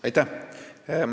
Aitäh!